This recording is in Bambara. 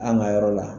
An ka yɔrɔ la